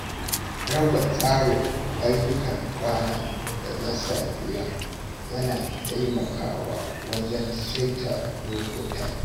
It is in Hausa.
Raba tsarin ayyukan rana da na safiya yana taimakawa wajen saita lokutan.